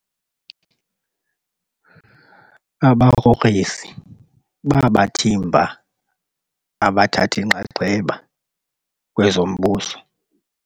abagrogrisi babathimba abathathi nxaxheba kwezombuso